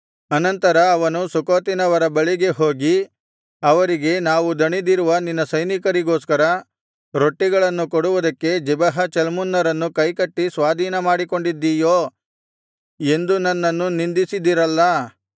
ಅನಂತರ ಅವನು ಸುಖೋತಿನವರ ಬಳಿಗೆ ಹೋಗಿ ಅವರಿಗೆ ನಾವು ದಣಿದಿರುವ ನಿನ್ನ ಸೈನಿಕರಿಗೋಸ್ಕರ ರೊಟ್ಟಿಗಳನ್ನು ಕೊಡುವುದಕ್ಕೆ ಜೆಬಹ ಚಲ್ಮುನ್ನರನ್ನು ಕೈಕಟ್ಟಿ ಸ್ವಾಧೀನಮಾಡಿಕೊಂಡಿದ್ದೀಯೋ ಎಂದು ನನ್ನನ್ನು ನಿಂದಿಸಿದಿರಲ್ಲಾ